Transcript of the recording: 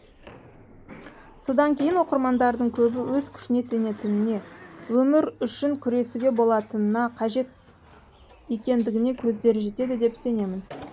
содан кейін оқырмандардың көбі өз күшіне сенетініне өмір үшін күресуге болатынына қажет екендігіне көздері жетеді деп сенемін